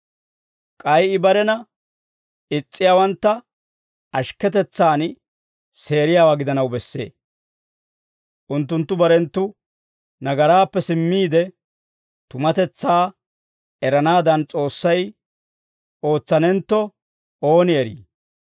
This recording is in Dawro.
K'ay I barena is's'iyaawantta ashikketetsan seeriyaawaa gidanaw bessee. Unttunttu barenttu nagaraappe simmiide, tumatetsaa eranaadan S'oossay ootsanentto, ooni eri.